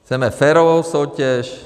Chceme férovou soutěž.